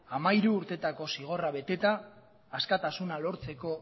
hamairu urtetako zigorra beteta askatasuna lortzeko